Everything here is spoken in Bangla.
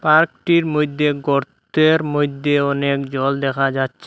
পার্কটির মইধ্যে গর্তের মইধ্যে অনেক জল দেখা যাচ্ছে।